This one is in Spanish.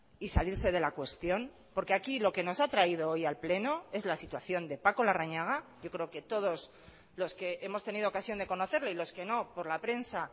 y salirse de la cuestión porque aquí lo que nos ha traído hoy al pleno es la situación de paco larrañaga yo creo que todos los que hemos tenido ocasión de conocerle y los que no por la prensa